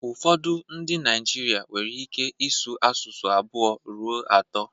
Ụfọdụ ndị Naijiria nwere ike ịsụ asụsụ abụọ ruo atọ